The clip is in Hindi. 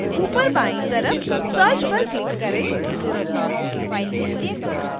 ऊपरी बाईं तरफ search पर क्लिक करें